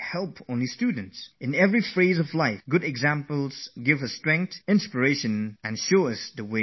No matter at which point of life you are at, fine examples and true stories give great inspiration, great strength, and pave a new path in times of trouble